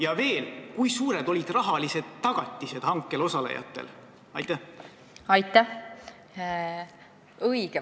Ja veel, kui suured olid rahalised tagatised, mida hankel osalejatelt nõuti?